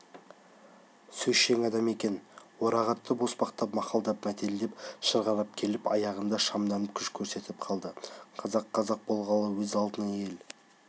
сөзшең адам екен орағытып-оспақтап мақалдап мәтелдеп шырғалап келіп аяғында шамданып күш көрсетіп қалды қазақ-қазақ болғалы өз алдына ел